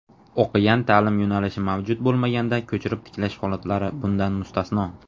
o‘qigan ta’lim yo‘nalishi mavjud bo‘lmaganda ko‘chirib tiklash holatlari bundan mustasno);.